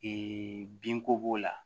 binko b'o la